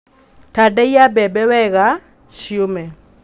Tandaiya mbembe wega ciũme.